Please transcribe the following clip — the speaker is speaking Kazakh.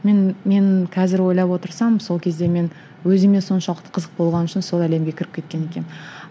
мен мен қазір ойлап отырсам сол кезде мен өзіме соншалықты қызық болған үшін сол әлемге кіріп кеткен екенмін